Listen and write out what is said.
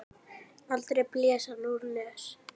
Aldrei blés hann úr nös.